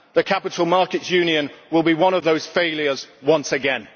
The capital markets union will be one of those failures once again.